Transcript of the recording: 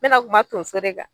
Mɛ na kuma tonso de kan